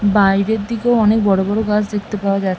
বাইরের দিকেও অনেক বড়ো বড়ো গাছ দেখতে পাওয়া যা--